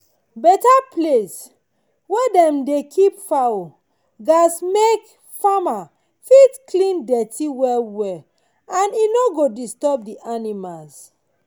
better place wey dem dey keep fowl gats make farmer fit clean dirty well well and e no go disturb the animals